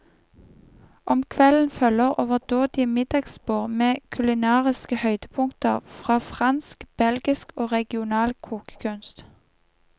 Om kvelden følger overdådige middagsbord med kulinariske høydepunkter fra fransk, belgisk og regional kokekunst.